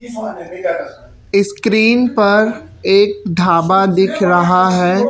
Screen पर एक ढाबा दिख रहा है।